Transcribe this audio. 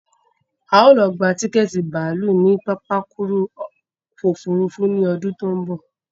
A ó lọ gba tiketi bàálù ní pápákuru òfurufú ni ọdún tó ń bọ̀